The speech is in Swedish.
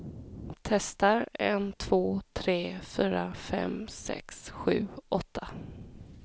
Testar en två tre fyra fem sex sju åtta.